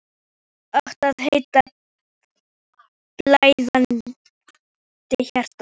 Það átti að heita: Blæðandi hjarta.